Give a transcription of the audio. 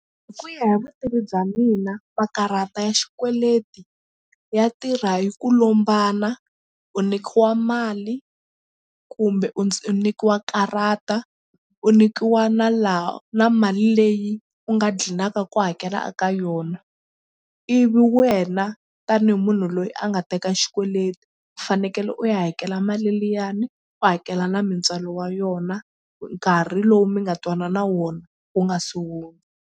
Hi ku ya hi vutivi bya mina makarhata ya xikweleti ya tirha hi ku lombana u nyikiwa mali kumbe u u nyikiwa karata u nyikiwa na laha na mali leyi u nga gcinaka ku hakela ka yona ivi wena tanihi munhu loyi a nga teka xikweleti u fanekele u ya hakela mali liyani u hakela na mintswalo wa yona nkarhi lowu mi nga twanana wona wu nga se hundza.